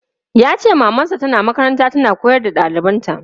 Yace maman sa tana makaranta tana koyar da ɗalibanta.